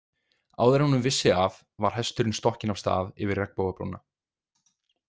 Áður en hún vissi af var hesturinn stokkinn af stað yfir regnbogabrúna.